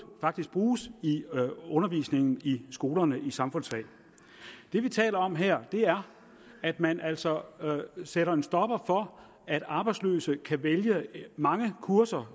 bruges i undervisningen i skolerne i samfundsfag det vi taler om her er at man altså sætter en stopper for at arbejdsløse kan vælge mange kurser